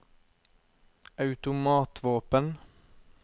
automatvåpen